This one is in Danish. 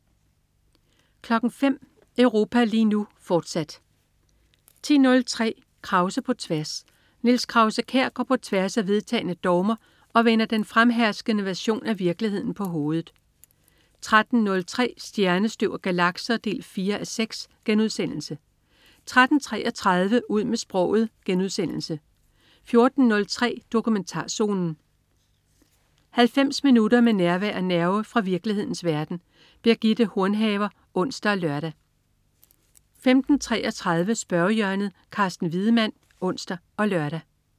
05.00 Europa lige nu, fortsat 10.03 Krause på tværs. Niels Krause-Kjær går på tværs af vedtagne dogmer og vender den fremherskende version af virkeligheden på hovedet 13.03 Stjernestøv og galakser 4:6* 13.33 Ud med sproget* 14.03 Dokumentarzonen. 90 minutter med nærvær og nerve fra virkelighedens verden. Birgitte Hornhaver (ons og lør) 15.33 Spørgehjørnet. Carsten Wiedemann (ons og lør)